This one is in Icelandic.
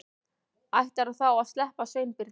Ætlarðu þá að sleppa Sveinbirni?